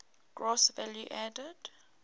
gross value added